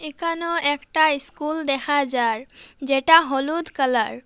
এখানেও একটা ইস্কুল দেখা যার যেটা হলুদ কালার ।